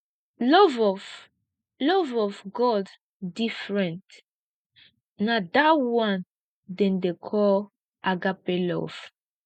love of love of god different na dat one dem dey call agape love